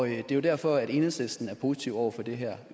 er jo derfor enhedslisten er positive over for det her